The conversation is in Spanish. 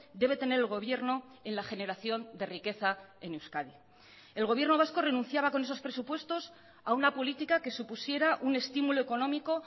debe tener el gobierno en la generación de riqueza en euskadi el gobierno vasco renunciaba con esos presupuestos a una política que supusiera un estímulo económico